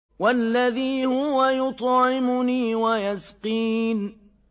وَالَّذِي هُوَ يُطْعِمُنِي وَيَسْقِينِ